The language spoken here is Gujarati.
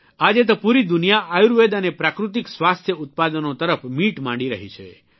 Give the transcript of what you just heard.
આજે તો પૂરી દુનિયા આયુર્વેદ અને પ્રાકૃતિક સ્વાસ્થ્ય ઉત્પાદનો તરફ મીટ માંડી રહી છે